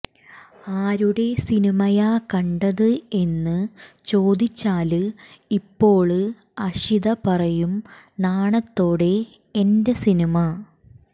ആരുടെ സിനിമയാ കണ്ടത് എന്നു ചോദിച്ചാല് ഇപ്പോള് അക്ഷിത പറയും നാണത്തോടെ എന്റെ സിനിമ